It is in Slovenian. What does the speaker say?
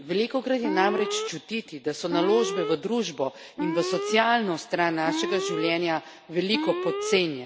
Velikokrat je namreč čutiti, da so naložbe v družbo in v socialno stran našega življenja, veliko podcenjene.